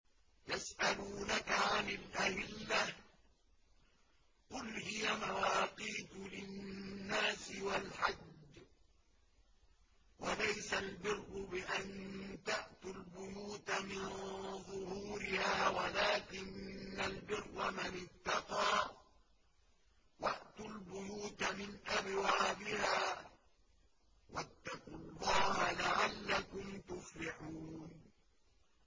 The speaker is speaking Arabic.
۞ يَسْأَلُونَكَ عَنِ الْأَهِلَّةِ ۖ قُلْ هِيَ مَوَاقِيتُ لِلنَّاسِ وَالْحَجِّ ۗ وَلَيْسَ الْبِرُّ بِأَن تَأْتُوا الْبُيُوتَ مِن ظُهُورِهَا وَلَٰكِنَّ الْبِرَّ مَنِ اتَّقَىٰ ۗ وَأْتُوا الْبُيُوتَ مِنْ أَبْوَابِهَا ۚ وَاتَّقُوا اللَّهَ لَعَلَّكُمْ تُفْلِحُونَ